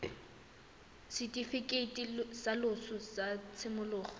setifikeiti sa loso sa tshimologo